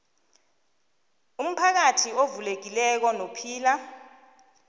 umphakathi ovulekileko nophila